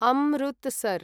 Amritsar